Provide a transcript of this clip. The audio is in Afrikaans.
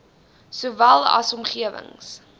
sowel as omgewings